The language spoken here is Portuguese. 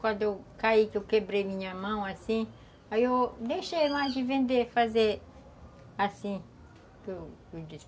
Quando eu caí, que eu quebrei minha mão, assim, aí eu deixei lá de vender, fazer assim